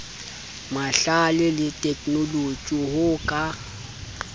mahlale le theknoloji ho ka